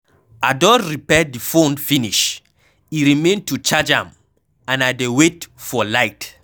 I don repair the phone finish, e remain to charge am and I dey wait for light.